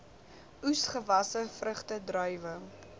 oesgewasse vrugte druiwe